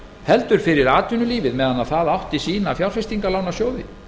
heldur fyrir atvinnulífið meðan það átti sína fjárfestingarlánasjóði